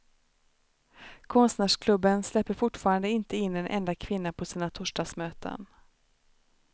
Konstnärsklubben släpper fortfarande inte in en enda kvinna på sina torsdagsmöten.